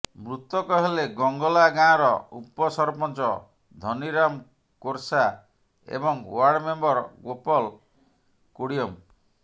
ମୃତକ ହେଲେ ଗଙ୍ଗଲା ଗାଁର ଉପସରପଞ୍ଚ ଧନିରାମ କୋରସା ଏବଂ ଓ୍ୱାଡ଼ ମେମ୍ବର ଗୋପଲ କୁଡ଼ିୟମ